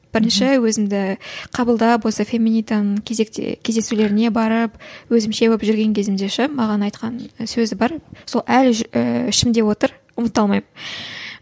бірінші өзімді қабылдап осы феминитаның кезекте кездесулеріне барып өзімше болып жүрген кезімде ше маған айтқан сөзі бар сол әлі ішімде отыр ұмыта алмаймын